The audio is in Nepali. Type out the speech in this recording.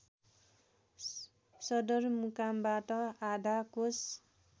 सदरमुकामबाट आधा कोस